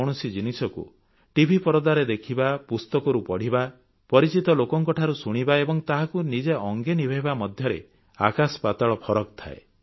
କୌଣସି ଜିନିଷକୁ tଭି ପରଦାରେ ଦେଖିବା ପୁସ୍ତକରୁ ପଢ଼ିବା ପରିଚିତ ଲୋକଙ୍କ ଠାରୁ ଶୁଣିବା ଏବଂ ତାହାକୁ ନିଜେ ଅଙ୍ଗେ ନିଭେଇବା ମଧ୍ୟରେ ଆକାଶପାତାଳ ଫରକ ଥାଏ